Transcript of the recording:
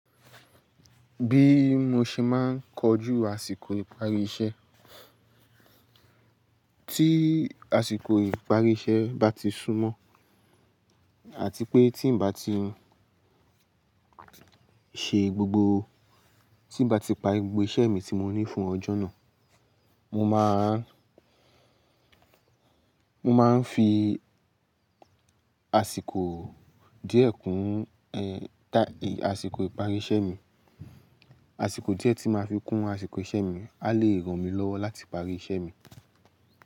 Bí mo ṣe máa ń kojú àsìkò ìparí iṣẹ́, tí àsìkò ìparí iṣẹ́ bá ti súnmọ́ àti pé tí ń bá ti ṣe gbogbo, tí ń bá ti pa gbogbo iṣẹ́ mi tí mo ní fún ọjọ́ náà, mo máa, mo máa ń fi àsìkò díẹ̀ kún, taì, àsìkò ìparí iṣẹ́ mi. Àsìkò díẹ̀ tí màá fi kún àsìkò iṣẹ́ mi a lè ràn mí lọ́wọ́ láti parí iṣẹ́ mi.